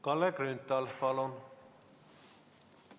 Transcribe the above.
Kalle Grünthal, palun!